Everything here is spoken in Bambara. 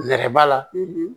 Nɛrɛ ba la